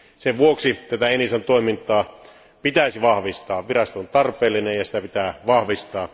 Sen vuoksi tätä ENISAn toimintaa pitäisi vahvistaa. Virasto on tarpeellinen, ja sitä pitää vahvistaa.